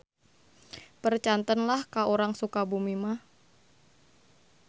Percanten lah ka urang Sukabumi mah.